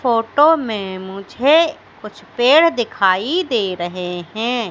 Photo में मुझे कुछ पेड़ दिखाई दे रहे हैं।